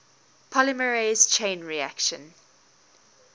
polymerase chain reaction